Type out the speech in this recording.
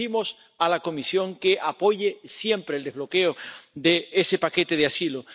y le urgimos a la Comisión a que apoye siempre el desbloqueo de ese paquete de asilo.